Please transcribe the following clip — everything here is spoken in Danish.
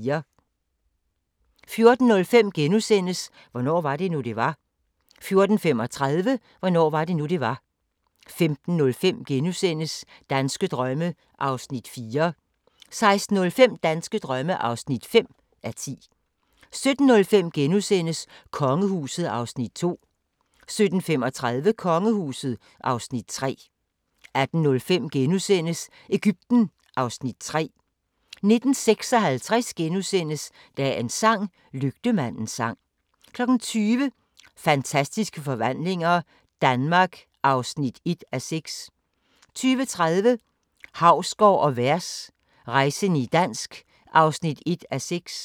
14:05: Hvornår var det nu, det var? * 14:35: Hvornår var det nu, det var? 15:05: Danske drømme (4:10)* 16:05: Danske drømme (5:10) 17:05: Kongehuset (Afs. 2)* 17:35: Kongehuset (Afs. 3) 18:05: Egypten (Afs. 3)* 19:56: Dagens sang: Lygtemandens sang * 20:00: Fantastiske Forvandlinger – Danmark (1:6) 20:30: Hausgaard & Vers – rejsende i dansk (1:6)